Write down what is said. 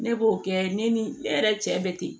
Ne b'o kɛ ne ni ne yɛrɛ cɛ bɛ ten